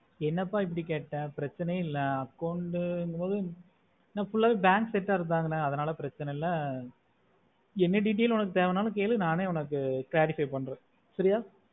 என்ன ப இப்புடி கேட்டுட்டே பிரெச்சனையா இல்ல account பொது ந full ஆஹ் bank set or தானே அதுனால பிரெச்சனையா இல்ல எந்த detail தேவைனாலுமே கேளு நானே clarify பண்ற